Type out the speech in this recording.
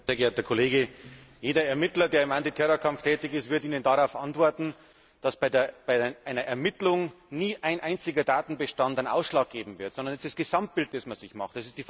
Sehr geehrter Kollege, jeder Ermittler, der im Antiterrorkampf tätig ist, wird Ihnen darauf antworten, dass bei einer Ermittlung nie ein einziger Datenbestand den Ausschlag geben wird, sondern das Gesamtbild, das man sich macht.